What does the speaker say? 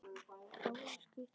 Báðir skutust á fætur.